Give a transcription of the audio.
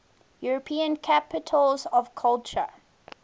european capitals of culture